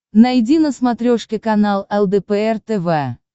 найди на смотрешке канал лдпр тв